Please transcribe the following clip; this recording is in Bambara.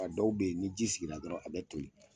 A dɔw be yen ni ji sigira dɔrɔn a bɛ toli.